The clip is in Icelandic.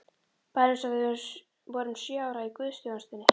Bara eins og þegar við vorum sjö ára í guðsþjónustunni!